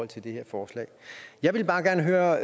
det her forslag jeg vil bare gerne høre